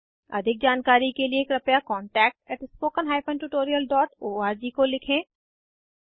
अधिक जानकारी कर लिए कृपया contactspoken tutorialorg को लिखें